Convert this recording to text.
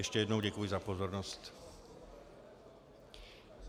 Ještě jednou děkuji za pozornost.